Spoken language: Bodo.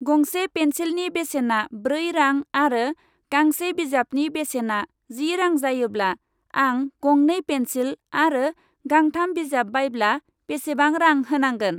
गंसे पेन्सिलनि बेसेना ब्रै रां आरो गांसे बिजाबनि बेसेना जि रां जायोब्ला आं गंनै पेन्सिल आरो गांथाम बिजाब बायब्ला बेसेबां रां होनांगोन ?